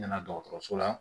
N nana dɔgɔtɔrɔso la